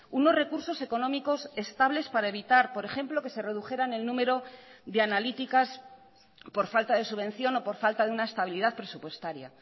unos recursos económicos estables para evitar por ejemplo que se redujeran el número de analíticas por falta de subvención o por falta de una estabilidad presupuestaria